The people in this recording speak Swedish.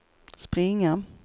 springa